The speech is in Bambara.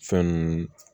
Fɛn ninnu